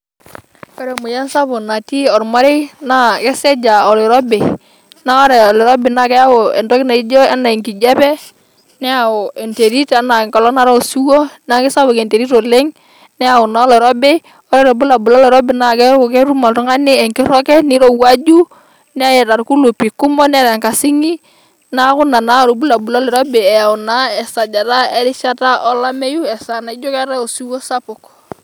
Ore emoyian sapuk natii olmarei naa kesej' aa oloirobi naa ore oloirobi naa keyau entoki naajio enaa enkijiape, neyau enterit enaa engolong' naatae osiwuo naa kesapuk enterit oleng' neyau naa oloirobi ore irobulabul loloirobi naa keeku ketum oltung'ani engirroget, neirowuaju, Neeta irkulupi kumok, Neeta enkasing'i neeku Nena naa irobulabul loloirobi eyau naa erishata naijo esajata alameyu easaa naijio keetae osiwuo Sapuk.